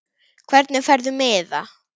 Hvernig færðu miða?